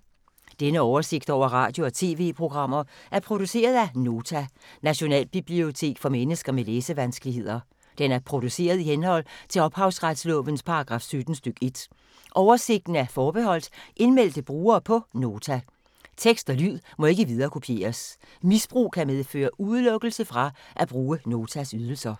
Denne oversigt over radio og TV-programmer er produceret af Nota, Nationalbibliotek for mennesker med læsevanskeligheder. Den er produceret i henhold til ophavsretslovens paragraf 17 stk. 1. Oversigten er forbeholdt indmeldte brugere på Nota. Tekst og lyd må ikke viderekopieres. Misbrug kan medføre udelukkelse fra at bruge Notas ydelser.